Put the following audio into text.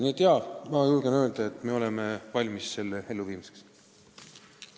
Nii et jaa, ma julgen öelda, et me oleme muudatuse elluviimiseks valmis.